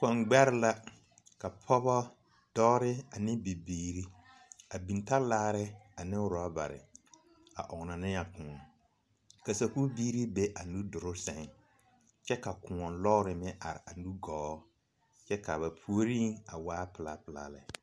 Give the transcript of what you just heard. Kɔŋ gbɛre la ka pɔgeba dɔba ane bibiiri a biŋ talaare ane rɔɔbare a ɔnnɔ ne a koɔ ka sakubiiri be a nuduloŋ sɛŋ kyɛ ka koɔ lɔɔre meŋ are a nugɔɔ kyɛ ka ba puori a waa pelaa pelaa lɛ.